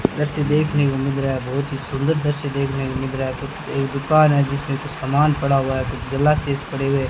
दृश्य देखने को मिल रहा है बहुत ही सुंदर दृश्य देखने को मिल रहा है कुछ एक दुकान है जिसमें कुछ सामान पड़ा हुआ है कुछ ग्लासेस पड़े हुए हैं।